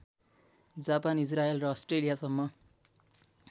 Japan Israel र अष्ट्रेलियासम्म